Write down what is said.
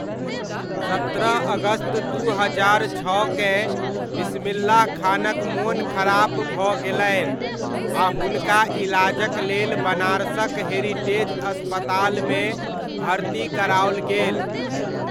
सत्रह अगस्त दू हजार छओकेँ बिस्मिल्लाह खानक मोन खराप भऽ गेलनि आ हुनका इलाजक लेल बनारसक हेरिटेज अस्पतालमे भर्ती कराओल गेल।